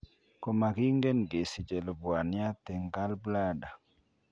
Komakingen kesiche lubwaniat eng' gallbladder